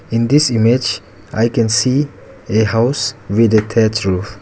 in this image i can see a house with a thatched roof.